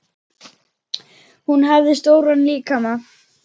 Hún hafði stóran líkama.